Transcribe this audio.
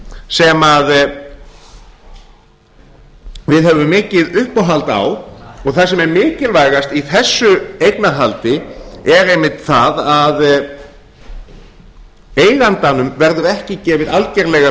talaðu varlega sem við höfum mikið uppáhald á og það sem væri mikilvægast í þessu eignarhaldi er einmitt það að eigandanum verður ekki gefið algerlega